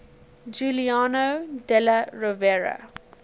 giuliano della rovere